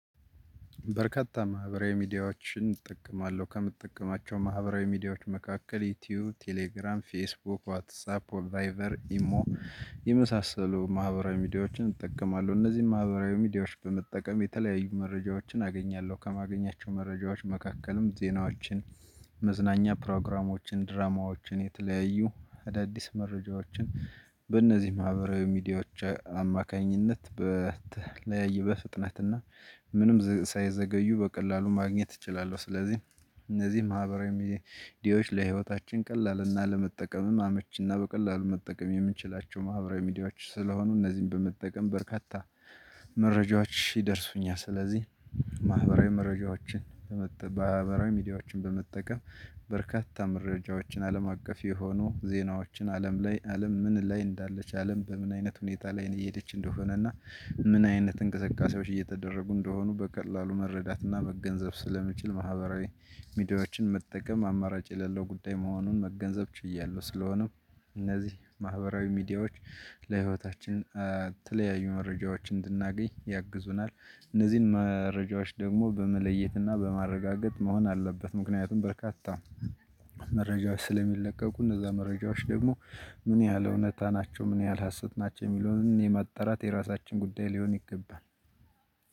በርካታ ማህበራዊ ሚዲያዎችን እጠቀማለሁ ከምጠቀማቸው ማህበራዊ ሚዲያዎች መካከል ዩቲዩብ ቴሌግራም ፌስቡክ ዋትሳፕ ቫይቨር ኢሞ የመሳሰሉ ማህበራዊ ሚዲያዎችን እጠቀማለሁ እነዚህን ማህበራዊ ሚዲያዎች በመጠቀም የተለያዩ መረጃዎችን አገኛለሁ ከማገኛቸው መረጃዎች መካከልም ዜናዎችን መዝናኛ ፕሮግራሞችን ድራማዎችን የተለያዩ አዳዲስ መረጃዎችን በእነዚህ ማህበራዊ ሚዲያዎች አማካኝነት በተለያየ በፍጥነትና ምንም ሳይዘገዩ በቀላሉ ማግኘት እችላለሁ። ስለዚህ እነዚህ ማህበራዊ ሚዲያዎች ለህይወታችን ቀላልና ለመጠቀምም አመች እና በቀላሉ መጠቀም የምንችላቸው ማህበራዊ ሚዲያዎች ስለሆኑ እነዚህን በመጠቀም በርካታ መረጃዎች ይደርሱኛል። ስለዚህ ማህበራዊ መረጃዎችን ማህበራዊ ሚዲያዎችን በመጠቀም በርካታ መረጃዎችን አለም አቀፍ የሆኑ ዜናዎችን አለም ላይ አለም ምን ላይ እንዳለች አለም በምን አይነት ሁኔታ ላይ ነው እየሄደች እንደሆነ እና ምን አይነት እንቅስቃሴዎች እየተደረጉ እንደሆኑ በቀላሉ መረዳት እና መገንዘብ ስለምችል ማህበራዊ ሚዲያዎችን መጠቀም አማራጭ የሌለው ጉዳይ መሆኑን መገንዘብ ችያለሁ። ስለሆነም እነዚህ ማህበራዊ ሚዲያዎች ለህይወታችን የተለያዩ መረጃዎችን እንድናገኝ ያግዙናል። እነዚህን መረጃዎች ደግሞ በመለየትና በማረጋገጥ መሆን አለበት ምክንያቱም በርካታ መረጃዎች ስለሚለቀቁ እነዛ መረጃዎች ደግሞ ምን ያህል እውነታ ናቸው ምን ያህል ሀሰት ናቸው የሚለውን የማጣራት የራሳችን ጉዳይ ሊሆን ይገባል።